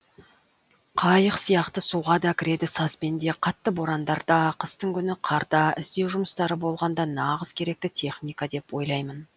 қайық сияқты суға да кіреді сазбен де қатты борандарда қыстың күні қарда іздеу жұмыстары болғанда нағыз керекті техника деп ойлаймын